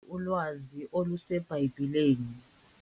Luninzi ulwazi oluseBhayibhileni.